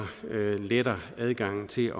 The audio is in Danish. letter adgangen til